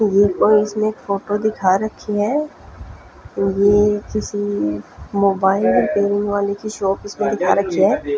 Pulse में photo दिखा रही है ये किसी मोबाइल वाली की शॉप इसमे दिखा रखी है।